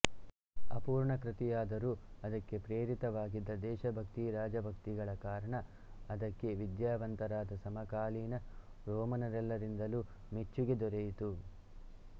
ಅಪೂರ್ಣಕೃತಿಯಾದರೂ ಅದಕ್ಕೆ ಪ್ರೇರಕವಾಗಿದ್ದ ದೇಶಭಕ್ತಿ ರಾಜಭಕ್ತಿಗಳ ಕಾರಣ ಅದಕ್ಕೆ ವಿದ್ಯಾವಂತರಾದ ಸಮಕಾಲೀನ ರೋಮನರಲ್ಲರಿಂದಲೂ ಮೆಚ್ಚಿಗೆ ದೊರೆಯಿತು